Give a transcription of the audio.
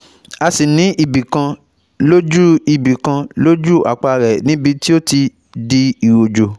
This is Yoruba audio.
A sì ní ibi kan lójú ibi kan lójú àpá rẹ̀ níbi tí ó ti di iròjò